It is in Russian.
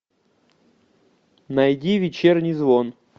найди вечерний звон